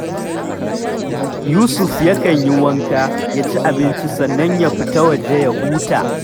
Yusuf yakan yi wanka, ya ci abinci sannan ya fita waje ya huta